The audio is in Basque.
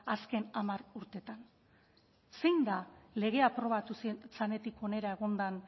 azken hamar urteetan zein da legea aprobatu zenetik hona egon den